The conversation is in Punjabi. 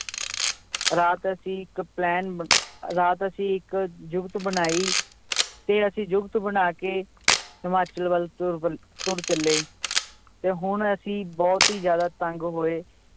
ਰਾਤ ਅਸੀਂ ਇੱਕ plan ਬ~ ਰਾਤ ਅਸੀਂ ਇੱਕ ਜੁਗਤ ਬਣਾਈ ਤੇ ਅਸੀਂ ਜੁਗਤ ਬਣਾ ਕੇ ਹਿਮਾਚਲ ਵੱਲ ਤੁਰ ਵੱ~ ਤੁਰ ਚੱਲੇ, ਤੇ ਹੁਣ ਅਸੀਂ ਬਹੁਤ ਹੀ ਜ਼ਿਆਦਾ ਤੰਗ ਹੋਏ